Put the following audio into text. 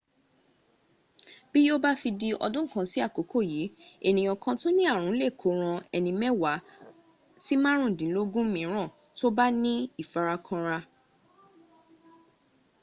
bí yíò bá fi di ọdún kan sí àkókò yìí ènìyàn kan tó ní ààrùn lè kó o ran ẹni mẹ́wàá sí márùndínlógún mííràn tó bá ní ìfarakínra